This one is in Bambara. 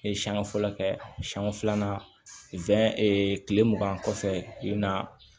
E siɲɛ fɔlɔ kɛ siɲɛ filanan kile mugan kɔfɛ i bina